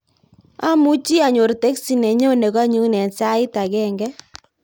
Amuchi anyor teksi nenyone konyun en sait agenge